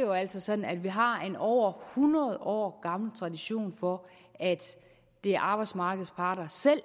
jo altså sådan at vi har en over hundrede år gammel tradition for at det er arbejdsmarkedets parter selv